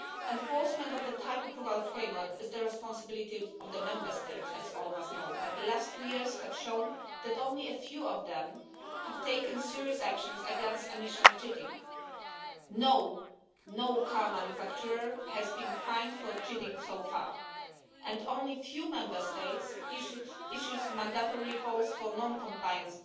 Enforcement of the type-approval framework is the responsibility of the Member States, as all of us know, but the last two years have shown that only a few of them have taken serious action against emission cheating. No car manufacturer has been fined for cheating so far, and only a few Member States have issued mandatory calls for non-compliant